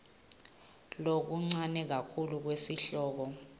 lokuncane kakhulu kwesihloko